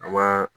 A wa